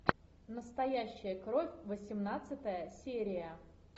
настоящая кровь восемнадцатая серия